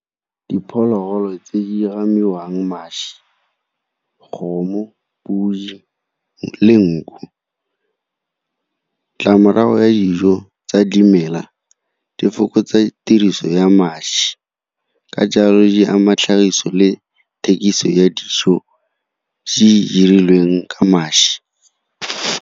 Diphologolo tse di gamiwang mašwi, kgomo, podi le nku. Ditlamorago ya dijo tsa dimela di fokotsa tiriso ya mašwi, ka jalo di ama tlhagiso le thekiso ya dijo tse dirilweng ka mašwi.